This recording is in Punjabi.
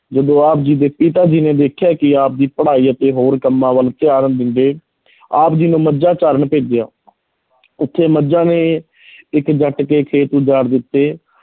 ਜਦੋਂ ਆਪ ਜੀ ਦੇ ਪਿਤਾ ਜੀ ਨੇ ਦੇਖਿਆ ਕਿ ਆਪ ਦੀ ਪੜ੍ਹਾਈ ਅਤੇ ਹੋਰ ਕੰਮਾਂ ਵੱਲ ਧਿਆਨ ਦਿੰਦੇ ਆਪ ਜੀ ਨੂੰ ਮੱਝਾਂ ਚਾਰਨ ਭੇਜਿਆ ਉੱਥੇ ਮੱਝਾਂ ਨੇ ਇੱਕ ਜੱਟ ਦੇ ਖੇਤ ਉਜਾੜ ਦਿੱਤੇ,